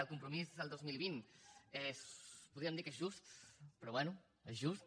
el compromís del dos mil vint podríem dir que és just però bé és just